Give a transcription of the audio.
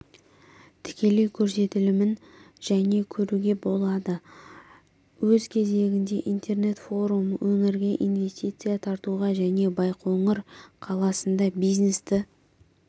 тікелей көрсетілімін және көруге болады өз кезегінде интернет-форум өңірге инвестиция тартуға және байқоңыр қаласында бизнесті